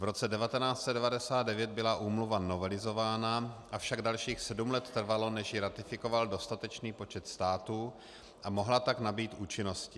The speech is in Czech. V roce 1999 byla úmluva novelizována, avšak dalších sedm let trvalo, než ji ratifikoval dostatečný počet států a mohla tak nabýt účinnosti.